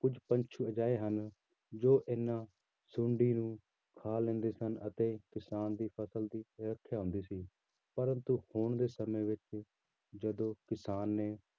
ਕੁਛ ਪੰਛੀ ਅਜਿਹੇ ਹਨ ਜੋ ਇਹਨਾਂ ਸੁੰਡੀ ਨੂੰ ਖਾ ਲੈਂਦੇ ਸਨ ਅਤੇ ਕਿਸਾਨ ਦੀ ਫ਼ਸਲ ਦੀ ਰੱਖਿਆ ਹੁੰਦੀ ਸੀ ਪਰੰਤੂ ਹੁਣ ਦੇ ਸਮੇਂ ਵਿੱਚ ਜਦੋਂ ਕਿਸਾਨ ਨੇ